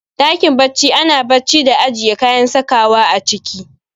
Ɗakin bacci ana bacci da ajiye kayan sakawa a ciki